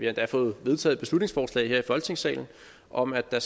endda fået vedtaget et beslutningsforslag her i folketingssalen om at der